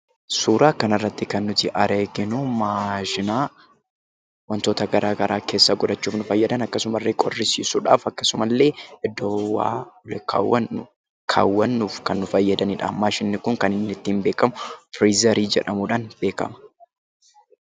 Suuraa kanarratti kan nuti arginu maashina wantoota garaagaraa keessa godhachuuf nu fayyadan akkasumallee qorrisiisuudhaaf akkasumallee iddoo ho'aa kaawwannuuf kan nu fayyadanidha. Maashinni kun kan ittiin beekamu firiizarii jedhamuudhaan beekama.